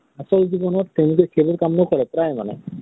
আচল জীৱণত তেওঁলোকে সেইবোৰ কাম কাম নকৰে, প্ৰায় মানে ।